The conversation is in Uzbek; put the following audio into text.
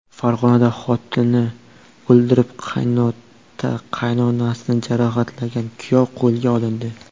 Farg‘onada xotinini o‘ldirib, qaynota-qaynonasini jarohatlagan kuyov qo‘lga olindi.